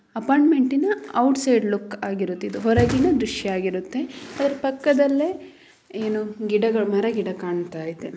ಅಪಾರ್ಟ್ಮೆಂಟ್ನ outside look ಆಗಿರುತ್ತೆ ಇದು ಹೊರಗಿನ ದೃಶ್ಯ ಆಗಿರುತ್ತೆ. ಅದರ ಪಕ್ಕದಲ್ಲಿ ಏನೋ ಗಿಡಗಳು ಮರ ಗಿಡ ಕಾಣ್ತಾ ಇದೆ.